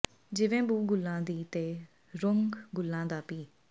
ਜਿਵੇਂ ਬੂ ਗੁਲਾਂ ਦੀ ਤੇ ਰੰਗ ਗੁਲਾਂ ਦਾ ਭੀ